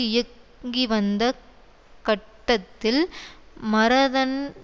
இயங்கிவந்த கட்டத்தில் மரதன்